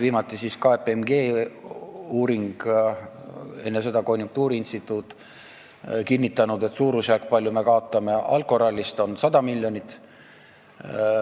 Viimati tehti KPMG uuring, enne seda konjunktuuriinstituudi oma ja need on kinnitanud, et suurusjärk, kui palju me kaotame alkoralli tõttu, on 100 miljonit.